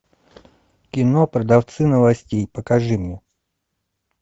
кино продавцы новостей покажи мне